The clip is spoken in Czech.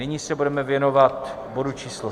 Nyní se budeme věnovat bodu číslo